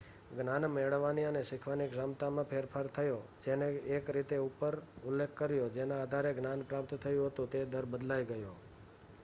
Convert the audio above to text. જ્ઞાન મેળવવાની અને શીખવાની ક્ષમતામાં ફેરફાર થયો જેનો એક રીતે ઉપર ઉલ્લેખ કર્યો ,જેના આધારે જ્ઞાન પ્રાપ્ત થયું હતું તે દર બદલાઈ ગયો